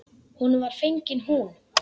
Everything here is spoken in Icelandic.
Honum var fengin hún.